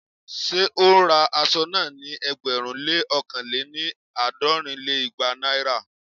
Ṣé ó ń ra aṣọ náà ní ẹgbẹ̀rún lé ókàn lé-ní- àádọ́rin lé igba Naira?